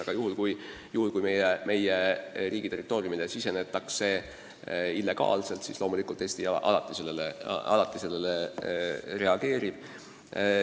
Aga kui meie riigi territooriumile sisenetakse illegaalselt, siis loomulikult Eesti alati sellele reageerib.